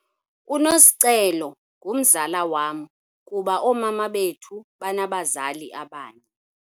UNosicelo ngumzala wam kuba oomama bethu banabazali abanye.